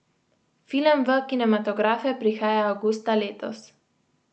Film v kinematografe prihaja avgusta letos.